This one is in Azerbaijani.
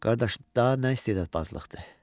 Qardaş, daha nə istedadbazlıqdır?